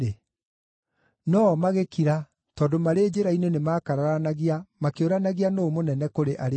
No-o magĩkira tondũ marĩ njĩra-inĩ nĩmakararanagia makĩũranagia nũũ mũnene kũrĩ arĩa angĩ.